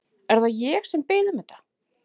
Er það ég sem bið um þetta?